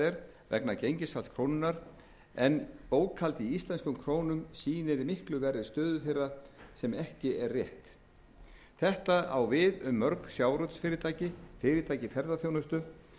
er vegna gengisfalls krónunnar en bókhald í íslenskum krónum sýnir miklu verri stöðu þeirra sem ekki er rétt þetta á við um mörg sjávarútvegsfyrirtæki fyrirtæki i ferðaþjónustu